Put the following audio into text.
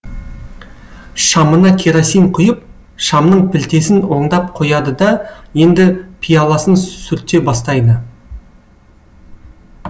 шамына керосин құйып шамның пілтесін оңдап қояды да енді пияласын сүрте бастайды